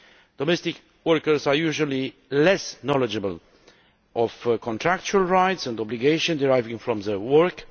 Domestic workers are usually less knowledgeable about contractual rights and obligations deriving from their work.